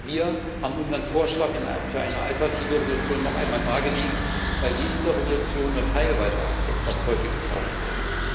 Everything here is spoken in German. Wir haben unseren Vorschlag für eine alternative Entschließung noch einmal dargelegt, weil die INTA Entschließung nur teilweise abdeckt, was heute gebraucht würde.